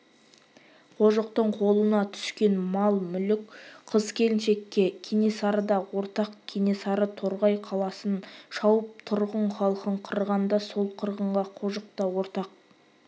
қожықтың қолына түскен мал-мүлік қыз-келіншекке кенесары да ортақ кенесары торғай қаласын шауып тұрғын халқын қырғанда сол қырғынға қожық та ортақ